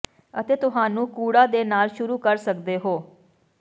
ਅਤੇ ਤੁਹਾਨੂੰ ਕੂੜਾ ਦੇ ਨਾਲ ਸ਼ੁਰੂ ਕਰ ਸਕਦੇ ਹੋ